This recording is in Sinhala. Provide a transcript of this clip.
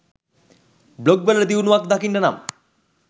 බ්ලොග් වල දියුණුවක් දකින්න නම්